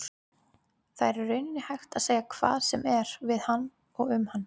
Það er í rauninni hægt að segja hvað sem er við hann og um hann.